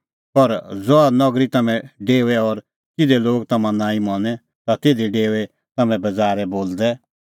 पर ज़हा नगरी तम्हैं डेओए और तिधे लोग तम्हां नांईं मनें ता तिधी डेओऐ तम्हैं बज़ारै बोलदै